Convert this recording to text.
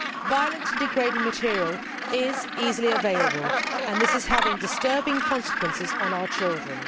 Violent and degrading material is easily available and this is having disturbing consequences on our children.